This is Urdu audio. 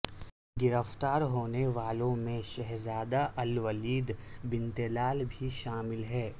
گرفتار ہونے والوں میں شہزادہ الولید بن طلال بھی شامل ہیں